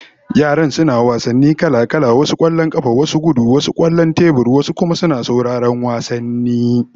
Yaran suna wasanni kala-kala, wasu kwallon kafa, wasu gudu, wasu kwallon tebur, wasu kuma sauran wasanni